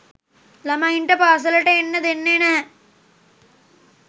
ළමයින්ට පාසලට එන්න දෙන්නෙ නැහැ.